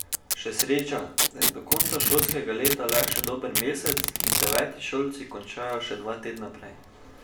Še sreča, da je do konca šolskega leta le še dober mesec in devetošolci končajo še dva tedna prej.